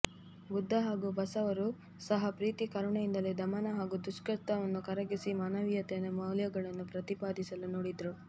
ಬುದ್ಧ ಹಾಗೂ ಬಸವರು ಸಹ ಪ್ರೀತಿ ಕರುಣೆಯಿಂದಲೇ ದಮನ ಹಾಗೂ ದುಷ್ಟತನವನ್ನು ಕರಗಿಸಿ ಮಾನವೀಯತೆಯನ್ನು ಮೌಲ್ಯಗಳನ್ನು ಪ್ರತಿಪಾದಿಸಲು ನೋಡಿದರು